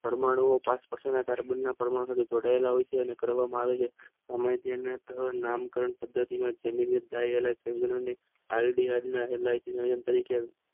પરમાણુ ટાસ્ક તરીકે જોડાયેલા હોય છે અને કરવામાં આવે છે